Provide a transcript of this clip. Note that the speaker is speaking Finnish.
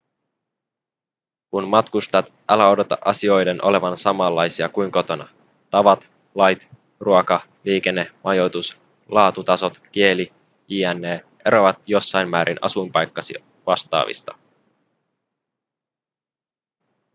kun matkustat älä odota asioiden olevan samanlaisia kuin kotona tavat lait ruoka liikenne majoitus laatutasot kieli jne eroavat jossain määrin asuinpaikkasi vastaavista